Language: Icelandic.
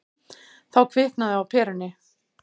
Þá kviknaði á perunni.